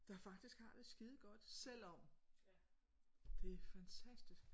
Der faktisk har det skide godt selvom det er fantastisk